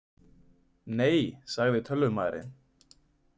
Nei, sagði tölvumaðurinn.